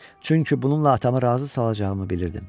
Çünki bununla atamı razı salacağımı bilirdim.